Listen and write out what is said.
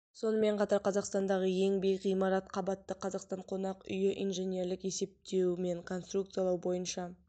сонымен қатар қазақстандағы ең биік ғимарат қабатты қазақстан қонақ үйі инженерлік есептеу мен конструкциялау бойынша